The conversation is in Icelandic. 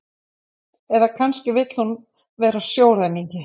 Eða kannski vill hún vera sjóræningi?